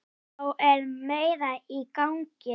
Þá er meira í gangi.